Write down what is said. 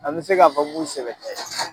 An bɛ se k'a fɔ k'u sɛbɛ tɛ